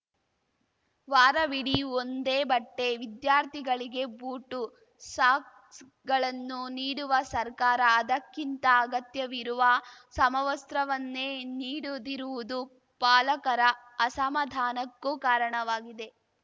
ವಾರವಿಡಿ ಒಂದೇ ಬಟ್ಟೆ ವಿದ್ಯಾರ್ಥಿಗಳಿಗೆ ಬೂಟು ಸಾಕ್ಸ್‌ಗಳನ್ನು ನೀಡುವ ಸರ್ಕಾರ ಅದಕ್ಕಿಂತ ಅಗತ್ಯವಿರುವ ಸಮವಸ್ತ್ರವನ್ನೇ ನೀಡುದಿರುವುದು ಪಾಲಕರ ಅಸಮಾಧಾನಕ್ಕೂ ಕಾರಣವಾಗಿದೆ